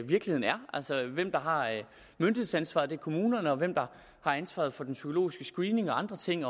hvem der har myndighedsansvaret det er kommunerne og hvem der har ansvaret for den psykologiske screening og andre ting